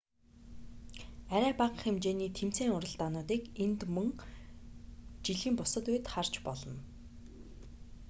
арай бага хэмжээний тэмцээн уралдаануудыг энд мөн жилийн бусад үед харж болно